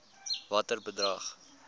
watter bedrag